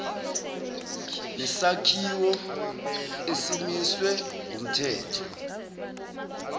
nesakhiwo esimiswe ngumthetho